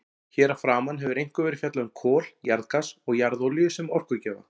Hér að framan hefur einkum verið fjallað um kol, jarðgas og jarðolíu sem orkugjafa.